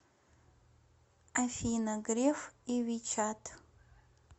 афина греф и вичат